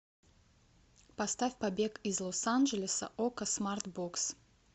поставь побег из лос анджелеса окко смарт бокс